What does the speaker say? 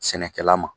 Sɛnɛkɛla ma